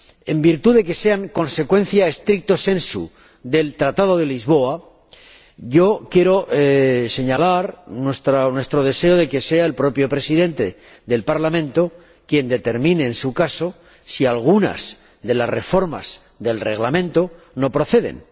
en virtud de que sean consecuencia stricto sensu del Tratado de Lisboa, quiero señalar nuestro deseo de que sea el propio Presidente del Parlamento quien determine, en su caso, si algunas de las reformas del Reglamento no proceden.